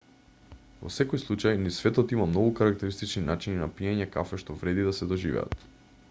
во секој случај низ светот има многу карактеристични начини на пиење кафе што вреди да се доживеат